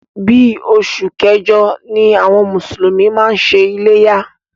Bí oṣù kẹjọ ni àwọn mùsùlùmí máa ń ṣe iléyá.